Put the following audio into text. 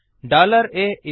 atrue